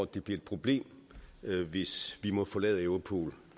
det bliver et problem hvis vi må forlade europol